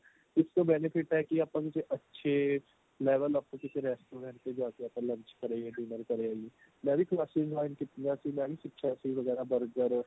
ਇੱਕ benefit ਤਾਂ ਇਹ ਹੈ ਕੀ ਆਪਾਂ ਨੂੰ ਜੇ ਅੱਛੇ level up ਦੇ ਕਿਸੇ restaurant ਤੇ ਜਾ ਕੇ ਆਪਾਂ lunch ਕਰੇ ਆਈਏ dinner ਕਰੇ ਆਈਏ ਮੈਂ ਵੀ classes join ਕੀਤੀਆ ਸੀ ਮੈਂ ਵੀ ਸਿਖਿਆ ਸੀ ਵਗੈਰਾ burger